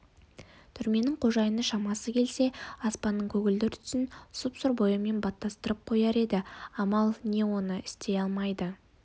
түрменің қожайыны шамасы келсе аспанның көгілдір түсін сұп-сұр бояумен баттастырып қояр еді амал не оны істей алмайды